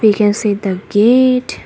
We can see the gate.